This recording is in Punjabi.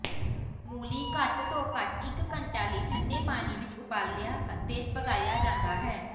ਮੂਲੀ ਘੱਟ ਤੋਂ ਘੱਟ ਇਕ ਘੰਟਾ ਲਈ ਠੰਡੇ ਪਾਣੀ ਵਿਚ ਉਬਾਲਿਆ ਅਤੇ ਪਕਾਇਆ ਜਾਂਦਾ ਹੈ